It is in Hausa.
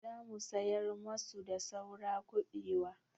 Za mu sayar masu da saura kuɓewa.